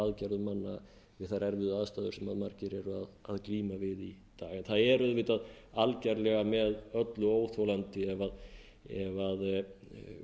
aðgerðum manna við þær erfiðu aðstæður sem margir eru að glíma við í dag en það er auðvitað algerlega með öllu óþolandi ef